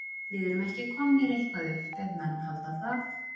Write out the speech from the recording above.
Við erum ekki komnir eitthvað upp ef menn halda það.